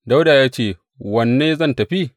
Dawuda ya ce, Wanne zan tafi?